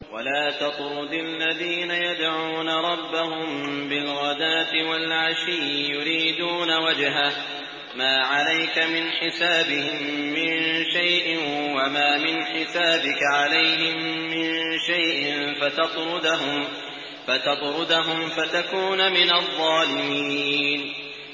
وَلَا تَطْرُدِ الَّذِينَ يَدْعُونَ رَبَّهُم بِالْغَدَاةِ وَالْعَشِيِّ يُرِيدُونَ وَجْهَهُ ۖ مَا عَلَيْكَ مِنْ حِسَابِهِم مِّن شَيْءٍ وَمَا مِنْ حِسَابِكَ عَلَيْهِم مِّن شَيْءٍ فَتَطْرُدَهُمْ فَتَكُونَ مِنَ الظَّالِمِينَ